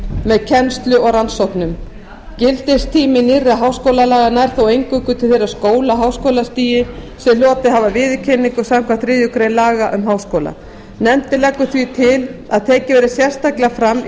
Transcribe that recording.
með kennslu og rannsóknum gildissvið nýrra háskólalaga nær þó eingöngu til þeirra skóla á háskólastigi sem hlotið hafa viðurkenningu samkvæmt þriðju grein laga um háskóla nefndin leggur því til að tekið verði sérstaklega fram í